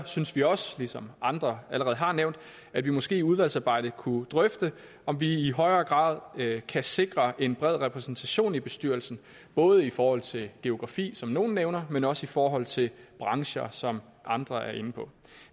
synes vi også ligesom andre allerede har nævnt at vi måske i udvalgsarbejdet kunne drøfte om vi i højere grad kan sikre en bred repræsentation i bestyrelsen både i forhold til geografi som nogle nævner men også i forhold til brancher som andre er inde på